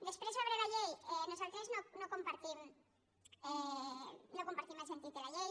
després sobre la llei nosaltres no compartim el sentit de la llei